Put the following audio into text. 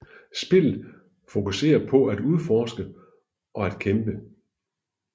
Spillet fokuserer på at udforske og at kæmpe